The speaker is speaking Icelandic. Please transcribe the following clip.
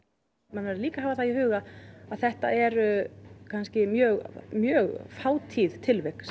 menn verða líka að hafa það í huga að þetta eru mjög mjög fátíð tilvik